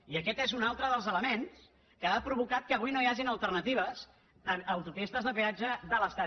i aquest és un altre dels elements que ha provocat que avui no hi hagin alternatives a autopistes de peatge de l’estat